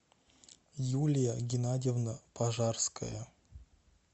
юлия геннадьевна пожарская